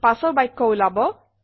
পাছৰ বাক্য উলাব